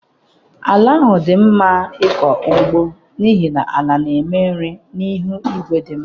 Ala ahụ dị mma maka ịkọ ugbo n'ihi ala na-eme nri na ihu igwe dị mma.